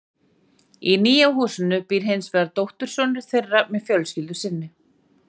Í nýja húsinu býr hins vegar dóttursonur þeirra með fjölskyldu sinni.